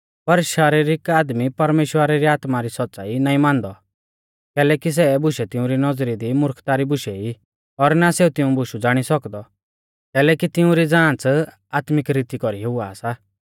पर शरीरिक आदमी परमेश्‍वरा री आत्मा री सौच़्च़ाई नाईं मानदौ कैलैकि सै बुशै तिउंरी नौज़री दी मुर्खता री बुशै ई और ना सेऊ तिऊं बुशु ज़ाणी सौकदौ कैलैकि तिऊं री ज़ांच़ आत्मिक रीती कौरी हुआ सा